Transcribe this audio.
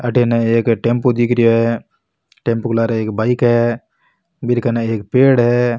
अठीने एक टेम्पू दिख रियाे है टेम्पू के लारे एक बाइक है बीरे कने एक पेड़ है।